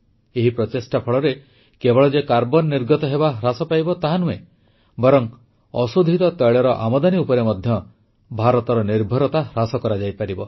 ଏହି ପ୍ରଚେଷ୍ଟା ଫଳରେ କେବଳ ଯେ କାର୍ବନ ନିର୍ଗମନ ହ୍ରାସ ପାଇବ ତାହା ନୁହେଁ ବରଂ ଅଶୋଧିତ ତୈଳର ଆମଦାନୀ ଉପରେ ମଧ୍ୟ ଭାରତର ନିର୍ଭରତା ହ୍ରାସ ପାଇବ